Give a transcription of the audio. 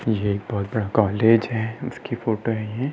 यह बहोत बड़ा कॉलेज है उसकी फोटो है ये।